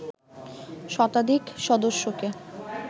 শতাধিক সদস্যকে